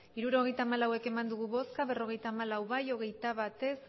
hirurogeita hamalau eman dugu bozka berrogeita hamalau bai hogeita bat ez